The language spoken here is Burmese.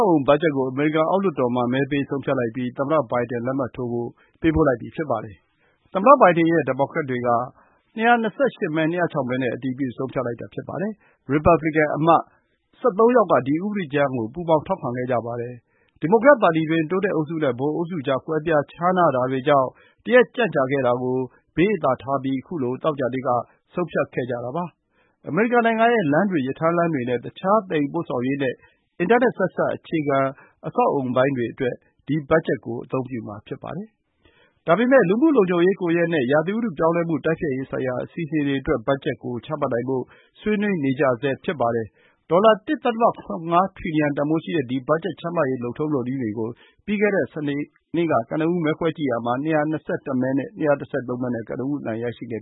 က်အအုံ ဘတ်ဂျက်ကို အမေရိကန် အောက်လွှတ်တော်မှာ မဲပေးဆုံးဖြတ်လိုက်ပြီး သမ္မတ Biden လက်မှတ်ထိုးဖို့ ပေးပို့လိုက်ပြီ ဖြစ်ပါတယ်။ သမ္မတ Biden ရဲ့ ဒီမိုကရက်တွေက ၂၂၈ မဲ ၂၀၆ မဲနဲ့ အတည်ပြု ဆုံးဖြတ်လိုက်တာ ဖြစ်ပါတယ်။ ရီပတ်ဘလီကန်အမတ် ၁၃ ယောက်က ဒီဥပဒေကြမ်းကို ထောက်ခံပါတယ်။ ဒီမိုကရက်ပါတီတွင်း တိုးတက်အုပ်စုနဲ့ ဗဟိုအုပ်စုကြား ကွဲပြားခြားနားတာတွေကြောင့် တရက်ကြန့်ကြာခဲ့ရတာကို ဘေးအသာထားပြီး ခုလို သောကြာနေ့က ဆုံးဖြတ်ခဲ့ကြတာပါ။ အမေရိကန်နိုင်ငံရဲ့ လမ်းတွေ၊ ရထားလမ်းတွေနဲ့ တခြား သယ်ယူပို့ဆောင်ရေးနဲ့ အင်တာနက် ဆက်စပ် အခြေခံအဆောက်အအုံပိုင်းတွေအတွက် ဒီဘတ်ဂျက်ကို အသုံးပြုမှာ ဖြစ်ပါတယ်။ ဒါပေမယ့် လူမှုလုံခြုံရေးကွန်ရက်နဲ့ ရာသီဥတု ပြောင်းလဲမှု တိုက်ဖျက်ရေးဆိုင်ရာ အစီအစဉ်တွေအတွက် ဘတ်ဂျက်ကို ချမှတ်နိုင်ဖို့ ဆွေးနွေးနေကြရဆဲ ဖြစ်ပါတယ်။ ဒေါ်လာ ၁ ဒသမ ၇၅ ထရီလီယံ တန်ဖိုးရှိတဲ့ ဒီ ဘတ်ဂျက်ချမှတ်ရေး လုပ်ထုံးလုပ်နည်းတွေကို ပြီးခဲ့တဲ့ စနေနေ့က မဲခွဲခဲ့ရာမှာ ၂၂၁ မဲ ၂၁၃ မဲနဲ့ ကနဦး အနိုင်ရရှိခဲ့